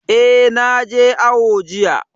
Eh, na je awo jiya